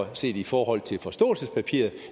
der set i forhold til forståelsespapiret